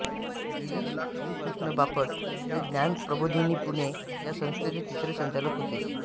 गिरीश श्रीकृष्ण बापट हे ज्ञान प्रबोधिनी पुणे या संस्थेचे तिसरे संचालक होते